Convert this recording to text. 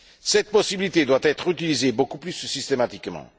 Cette possibilité doit être utilisée beaucoup plus systématiquement.